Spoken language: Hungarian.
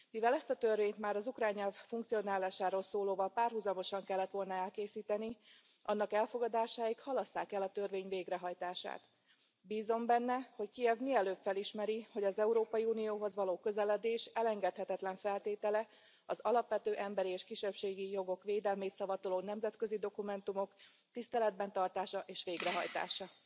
Mivel ezt a törvényt már az ukrán nyelv funkcionálásáról szólóval párhuzamosan kellett volna elkészíteni, annak elfogadásáig halasszák el a törvény végrehajtását. Bízom benne, hogy Kijev mielőbb felismeri, hogy az Európai Unióhoz való közeledés elengedhetetlen feltétele az alapvető emberi és kisebbségi jogok védelmét szavatoló nemzetközi dokumentumok tiszteletben tartása és végrehajtása.